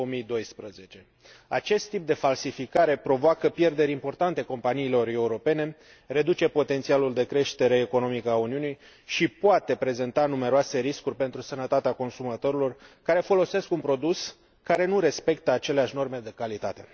2012. Acest tip de falsificare provoacă pierderi importante companiilor europene, reduce potențialul de creștere economică a Uniunii și poate prezenta numeroase riscuri pentru sănătatea consumatorilor care folosesc un produs ce nu respectă aceleași norme de calitate.